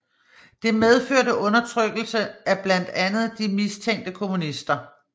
Det medførte undertrykkelse af blandt andet de mistænkte kommunister